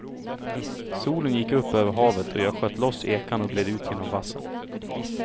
Solen gick upp över havet och jag sköt loss ekan och gled ut genom vassen.